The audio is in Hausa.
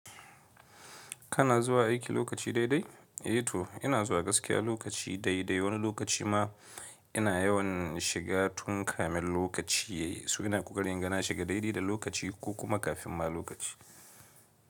Kana zuwa aiki lokaci dai dai? Eh to ina zuwa gaskiya lokaci dai dai, wani lokaci ma ina yawan shiga tun kamin lokaci. Su ina kuka ri inga na shiga daidai da lokaci ko kuma kafin ma lokaci.